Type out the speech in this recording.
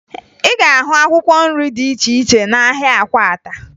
Ị ga-ahụ akwụkwọ nri dị iche iche n'ahịa Akwata